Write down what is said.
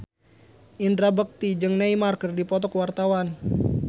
Indra Bekti jeung Neymar keur dipoto ku wartawan